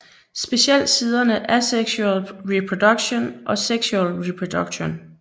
Specielt siderne Asexual Reproduction og Sexual Reproduction